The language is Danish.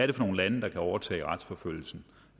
det for nogle lande der kan overtage retsforfølgelsen